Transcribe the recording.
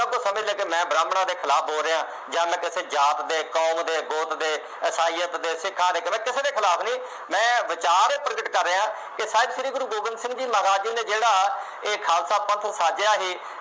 ਜਿਹਨੂੰ ਸਮਝ ਲੱਗੇ ਮੈਂ ਬ੍ਰਾਹਮਣਾਂ ਦੇ ਖਿਲਾਫ ਬੋਲ ਰਿਹਾਂ, ਜਾਂ ਮੈਂ ਕਿਸੇ ਜਾਤ ਦੇ, ਕੌਮ ਦੇ, ਗੋਤ ਦੇ, ਇਸਾਈਅਤ ਦੇੇ, ਸਿੱਖਾਂ ਦੇ, ਮੈਂ ਦੇ ਖਿਲਾਫ ਨਹੀਂ। ਮੈਂ ਵਿਚਾਰ ਪ੍ਰਗਟ ਕਰ ਰਿਹਾਂ, ਕਿ ਸਾਹਿਬ ਸ਼੍ਰੀ ਗੁਰੂ ਗੋਬਿੰਦ ਸਿੰਘ ਜੀ ਮਹਾਰਾਜ ਨੇ ਜਿਹੜਾ ਇਹ ਖਾਲਸਾ ਪੰਥ ਸਾਜਿਆ ਸੀ।